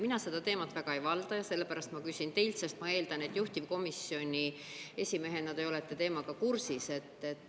Mina seda teemat väga ei valda ja sellepärast ma küsin teilt, sest ma eeldan, et juhtivkomisjoni esimehena te olete teemaga kursis.